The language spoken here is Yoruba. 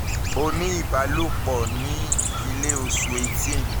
o ní ìbálòpọ̀ ní april 18 o ní oṣù kẹfà